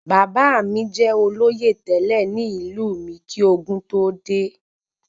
Bàbá mí jẹ olóyè tẹlẹ ní ìlú mí kí ogún tó dé